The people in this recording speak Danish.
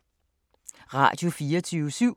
Radio24syv